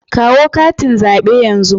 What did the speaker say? Kawo katin zabe yanzu.